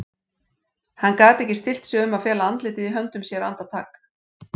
Hann gat ekki stillt sig um að fela andlitið í höndum sér andartak.